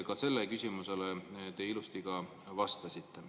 Ka sellele küsimusele te ilusti vastasite.